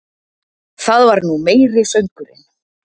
Það var nú meiri söngurinn!